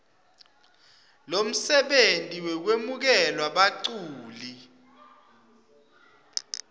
lomsebenti wekwemukela baculi